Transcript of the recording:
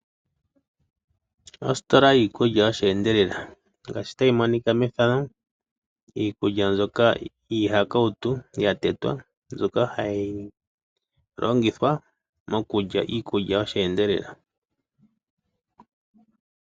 Ositola yiikulya yosheendelela, ngaashi ta yi monika methano. Iikulya mbjoka hiihakawutu yatetwa mbyoka ha yi longithwa mokulya iikulya yosheendela.